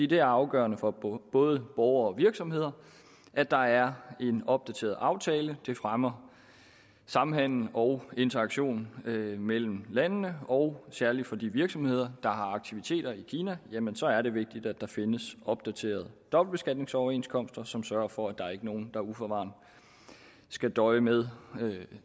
det er afgørende for både borgere og virksomheder at der er en opdateret aftale det fremmer samhandel og interaktion mellem mellem landene og særligt for de virksomheder der har aktiviteter i kina jamen så er det vigtigt at der findes opdaterede dobbeltbeskatningsoverenskomster som sørger for at der ikke er nogen der uforvarende skal døje med